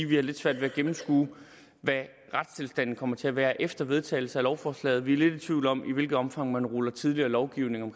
vi har lidt svært ved at gennemskue hvad retstilstanden kommer til at være efter vedtagelsen af lovforslaget vi er lidt i tvivl om i hvilket omfang man ruller tidligere lovgivning